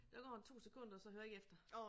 Der går en 2 sekunder og så hører jeg ikke efter